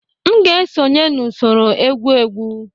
M ga-esonye n'usoro egwu egwu